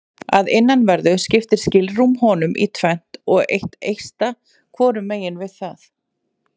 Að innanverðu skiptir skilrúm honum í tvennt og er eitt eista hvorum megin við það.